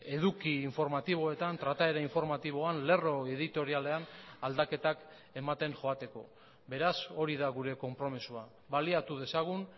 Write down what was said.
eduki informatiboetan trataera informatiboan lerro editorialean aldaketak ematen joateko beraz hori da gure konpromisoa baliatu dezagun